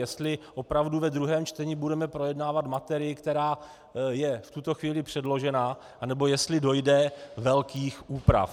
Jestli opravdu ve druhém čtení budeme projednávat materii, která je v tuto chvíli předložena, anebo jestli dojde velkých úprav.